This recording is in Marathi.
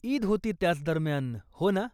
ईद होती त्याच दरम्यान, हो ना?